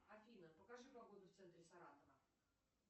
афина покажи погоду в центре саратова